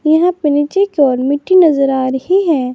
यहां पर नीचे की ओर मिट्टी नजर आ रही।